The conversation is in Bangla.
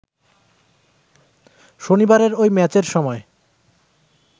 শনিবারের ঐ ম্যাচের সময়